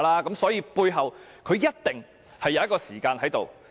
因此，背後一定會有時間性。